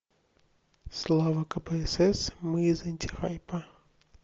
слава кпсс мы из антихайпа